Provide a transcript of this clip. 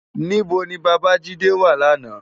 Nibó ni Babajide wá làná?